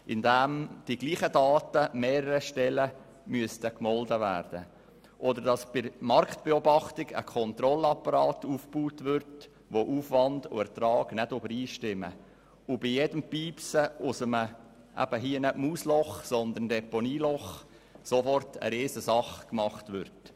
Dies beispielsweise, indem dieselben Daten mehreren Stellen gemeldet werden müssten oder bei der Marktbeobachtung ein Kontrollapparat aufgebaut wird, bei dem Aufwand und Ertrag nicht übereinstimmen und bei jedem Piepsen aus einem Deponieloch sofort eine Riesensache gemacht wird.